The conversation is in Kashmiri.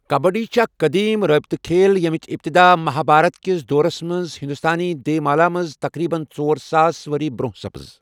کبڈی چھےٚ اکھ قدیم رٲبطہ کھیل ییٚمِچ اِبتدا مہابھارت کِس دورس منٛز ہندوستانی دیومالا منٛز تقریبا ژۄر ساس ؤری برۅنٛہہ سپٕز۔